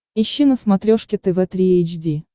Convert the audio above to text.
ищи на смотрешке тв три эйч ди